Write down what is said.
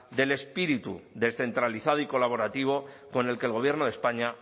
del espíritu descentralizado y colaborativo con el que el gobierno de españa